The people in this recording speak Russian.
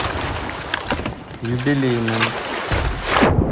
юбилейным